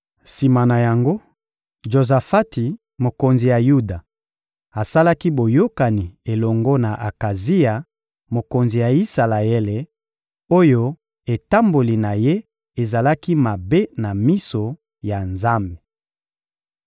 Sima na yango, Jozafati, mokonzi ya Yuda, asalaki boyokani elongo na Akazia, mokonzi ya Isalaele, oyo etamboli na ye ezalaki mabe na miso ya Nzambe.